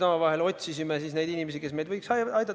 Me otsisime neid inimesi, kes võiksid aidata.